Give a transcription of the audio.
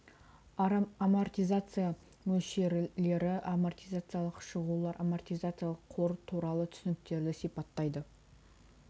амортизация мөлшерлері амортизациялық шығулар амортизациялық қор туралы түсініктерді сипаттайды